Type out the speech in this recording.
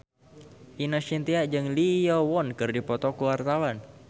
Ine Shintya jeung Lee Yo Won keur dipoto ku wartawan